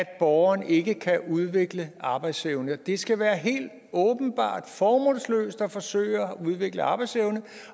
at borgeren ikke kan udvikle arbejdsevne det skal være helt åbenbart formålsløst at forsøge at udvikle arbejdsevne